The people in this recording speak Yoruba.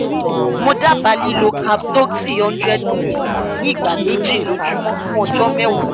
mo dábàá lílo cap doxy hundred milligram ní ìgbà méjì lójúmọ́ fún ọjọ́ mẹ́wàá